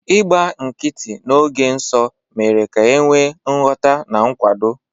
Ịgba nkịtị n'oge nsọ mere ka e nwee nghọta na nkwado.